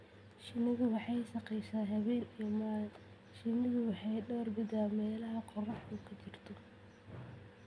Shinnidu waxay shaqaysaa habeen iyo maalin. Shinnidu waxay door bidaa meelaha qorraxdu ka jirto.